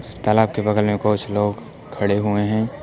इस तालाब के बगल में कुछ लोग खड़े हुए हैं।